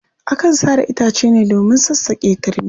Akan sare itace ne domin sassaƙe turmi.